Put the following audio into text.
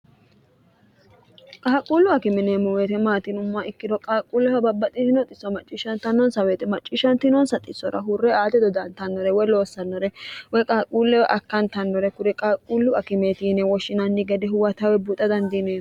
qaaqquullu akime yineemmo weete maati yinummoha ikkiro qaaqquulleho babbaxitino xisso macciishshantannonsa weete macciishshantinonsa xisora hurre aate dodantannore woy loossannore woy qaaquulle woy akkantannore kure qaaqquullu akimeetiine woshshinanni gede huwa tawe buxa dandiineemo